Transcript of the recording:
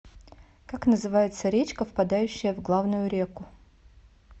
как называется речка впадающая в главную реку